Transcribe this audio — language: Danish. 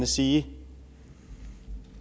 sige